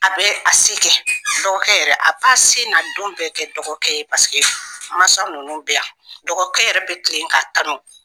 A bɛ a se kɛ, dɔgɔkɛ yɛrɛ a b'a se n'a don bɛ kɛ dɔgɔkɛ ye paseke masa ninnu bɛ yan, dɔgɔkɛ yɛrɛ bi kilen ka tanu